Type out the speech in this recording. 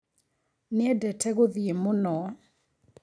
Nĩendete gũthiĩ mũno.